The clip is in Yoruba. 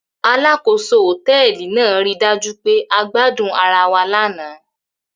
Alákòóso hòtẹ́ẹ́lì náà ri dájú pé a gbadun ara wa lánàá.